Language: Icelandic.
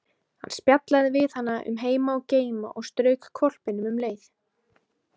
Hann spjallaði við hana um heima og geima og strauk hvolpinum um leið.